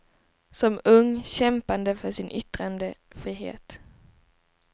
Som ung kämpande för sin yttrandefrihet.